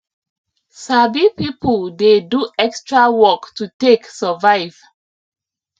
sabi people the do extra work to take survive